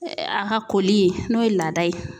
A ka koli ye n'o ye laada ye.